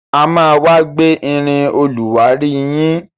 A má wá gbé irin olùwárí yín